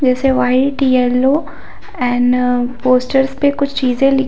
जैसे white yellow and posters पे कुछ चीजे लिखी--